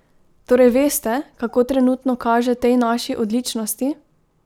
Torej veste, kako trenutno kaže tej naši odličnosti?